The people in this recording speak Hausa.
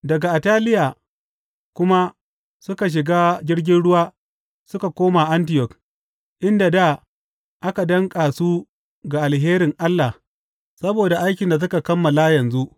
Daga Attaliya kuma suka shiga jirgin ruwa suka koma Antiyok, inda dā aka danƙa su ga alherin Allah saboda aikin da suka kammala yanzu.